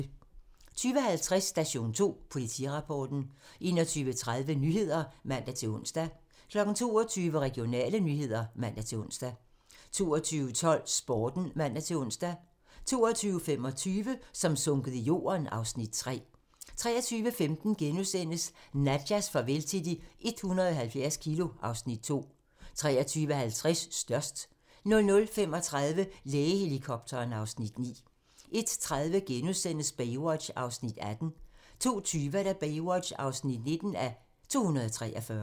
20:50: Station 2: Politirapporten 21:30: Nyhederne (man-ons) 22:00: Regionale nyheder (man-ons) 22:12: Sporten (man-ons) 22:25: Som sunket i jorden (Afs. 3) 23:15: Nadjas farvel til de 170 kilo (Afs. 2)* 23:50: Størst 00:35: Lægehelikopteren (Afs. 9) 01:30: Baywatch (18:243)* 02:20: Baywatch (19:243)